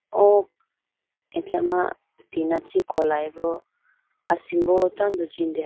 O achama tina chee kolayi bo asimbo achama tando jindehoyi bo.